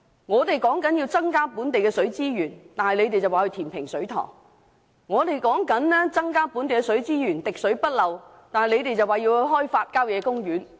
我們建議增加本地的水資源，他們卻建議填平水塘；我們建議收集更多本地水資源，做到滴水不漏，他們卻建議開發郊野公園。